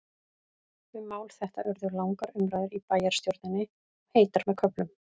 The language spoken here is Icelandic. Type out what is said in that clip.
Um mál þetta urðu langar umræður í bæjarstjórninni, og heitar með köflum.